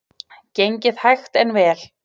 Gengið hægt en vel